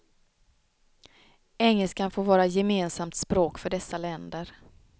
Engelskan får vara gemensamt språk för dessa länder.